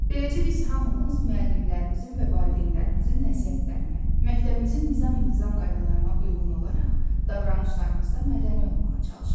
Beləcə biz hamımız müəllimlərimizin və valideynlərimizin nəsihətlərinə, məktəbimizin nizam-intizam qaydalarına uyğun olaraq davranışlarımızda mədəni olmağa çalışırıq.